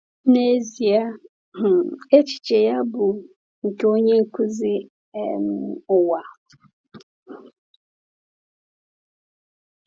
N’ezie, um echiche ya bụ nke onye nkuzi um ụwa.